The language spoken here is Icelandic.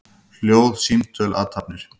Hljóð, símtöl, athafnir.